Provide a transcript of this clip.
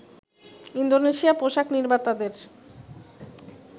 Indonesia পোশাক নির্মাতাদের